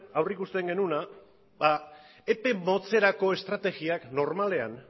aurreikusten genuena epe motzerako estrategiak normalean